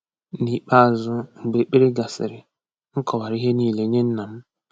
N’ikpeazụ, mgbe ekpere gasịrị, m kọwara ihe niile nye nna m.